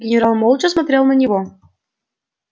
генерал молча смотрел на него